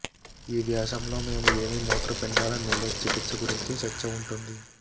ఈ వ్యాసం లో మేము ఏమి మూత్రపిండాల మిల్లెట్ చికిత్స గురించి చర్చ ఉంటుంది